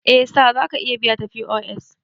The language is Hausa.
Eh Sir zaka iya biya ta POS